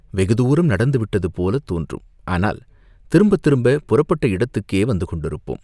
வெகுதூரம் நடந்துவிட்டது போலத் தோன்றும், ஆனால் திரும்பத் திரும்பப் புறப்பட்ட இடத்துக்கே வந்து கொண்டிருப்போம்!